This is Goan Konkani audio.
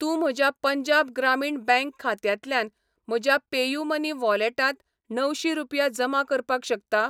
तूं म्हज्या पंजाब ग्रामीण बँक खात्यांतल्यान म्हज्या पेयूमनी वॉलेटांत णवशी रुपया जमा करपाक शकता?